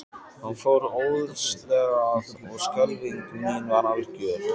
Hann fór óðslega að og skelfing mín var algjör.